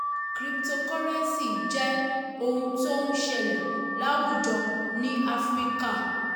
crypotocurrency jẹ ohun tó ń ṣẹlẹ̀ láwùjọ ní áfíríkà.